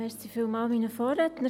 Vielen Dank an meine Vorredner.